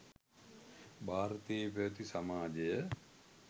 භාරතයේ පැවැති සමාජය